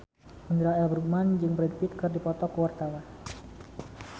Indra L. Bruggman jeung Brad Pitt keur dipoto ku wartawan